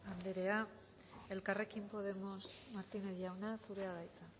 anderea elkarrekin podemos martínez jauna zurea da hitza